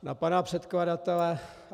Na pana předkladatele...